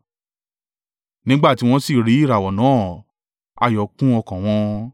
Nígbà tí wọ́n sì rí ìràwọ̀ náà, ayọ̀ kún ọkàn wọn.